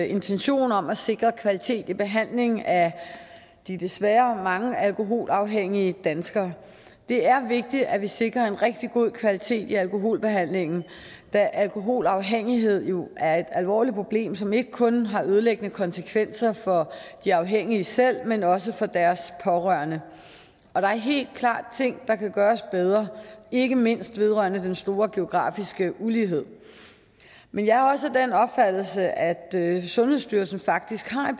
intention om at sikre kvalitet i behandlingen af de desværre mange alkoholafhængige danskere det er vigtigt at vi sikrer en rigtig god kvalitet i alkoholbehandlingen da alkoholafhængighed jo er et alvorligt problem som ikke kun har ødelæggende konsekvenser for de afhængige selv men også for deres pårørende der er helt klart ting der kan gøres bedre ikke mindst vedrørende den store geografiske ulighed men jeg er også af den opfattelse at sundhedsstyrelsen faktisk har